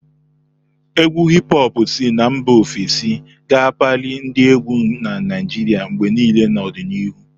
Égwù Hip-hopu si na mba ofesi ga-akpali ndị égwù na Naijiria mgbe niile n'ọdịnihu.